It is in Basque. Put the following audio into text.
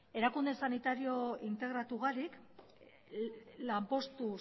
erakunde sanitario integratu barik lanpostu